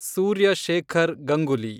Surya Shekhar Ganguly